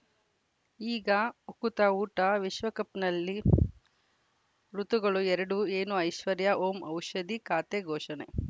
ಈಗ ಉಕುತ ಊಟ ವಿಶ್ವಕಪ್‌ನಲ್ಲಿ ಋತುಗಳು ಎರಡು ಏನು ಐಶ್ವರ್ಯಾ ಓಂ ಔಷಧಿ ಖಾತೆ ಘೋಷಣೆ